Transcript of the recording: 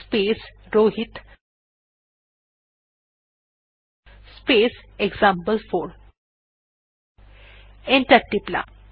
space Rohit space example four enter টিপলাম